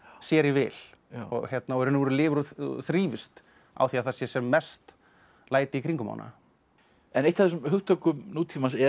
sér í vil í raun og veru lifir og þrífst á því að það sé sem mest læti í kringum hana en eitt af þessum hugtökum nútímans er